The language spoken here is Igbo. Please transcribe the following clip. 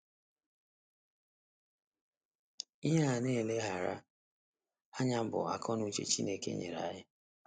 Ihe a na - agaghị eleghara anya bụ akọ na uche Chineke nyere anyị.